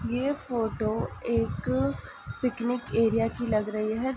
ये फोटो एक picnic area की लग रही है।